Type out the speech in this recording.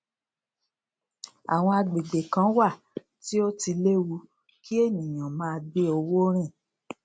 àwọn agbègbè kan wà tí ó ti léwu kí ènìyàn máa gbé owó rìn